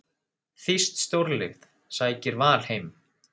Þýskt stórlið sækir Val heim